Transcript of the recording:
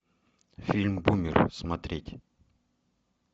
фильм бумер смотреть